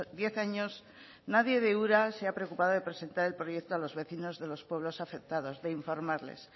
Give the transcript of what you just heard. diez años nadie de ura se ha preocupado de presentar el proyecto a los vecinos de los pueblos afectados de informarles